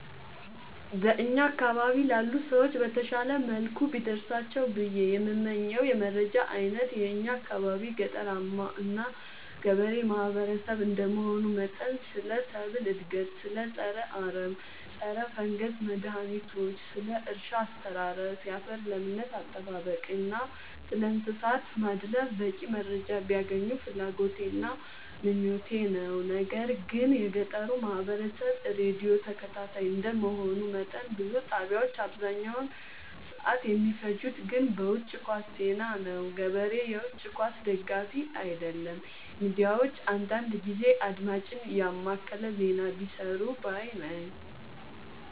በእኛ አካባቢ ላሉ ሰዎች በተሻለ መልኩ ቢደርሳቸው ብዬ የምመኘው የመረጃ አይነት የእኛ አካባቢ ገጠራማ እና ገበሬ ማህበሰብ እንደመሆኑ መጠን ስለ ሰብል እድገት ስለ ፀረ አረም ፀረፈንገስ መድሀኒቶች ስለ እርሻ አስተራረስ ያፈር ለምነት አጠባበቅ እና ስለእንሰሳት ማድለብ በቂ መረጃ ቢያገኙ ፍላጎቴ እና ምኞቴ ነው። ነገር ግን የገጠሩ ማህበረሰብ ራዲዮ ተከታታይ እንደ መሆኑ መጠን ብዙ ጣቢያዎች አብዛኛውን ሰዓት የሚፈጅት ግን በውጪ ኳስ ዜና ነው። ገበሬ የውጪ ኳስ ደጋፊ አይደለም ሚዲያዎች አንዳንዳንድ ጊዜ አድማጭን የማከለ ዜና ቢሰሩ ባይነኝ።